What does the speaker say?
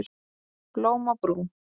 Blóm á brú